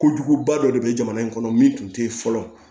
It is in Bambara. Ko juguba dɔ de bɛ jamana in kɔnɔ min tun tɛ yen fɔlɔ